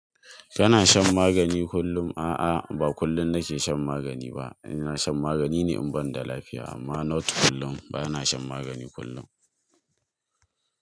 Kana shan magani kullum? A'a, ba kullum nake shan magani ba. Ina shan magani ne in banda lafiya amma not kullum. Ba na shan magani kullum.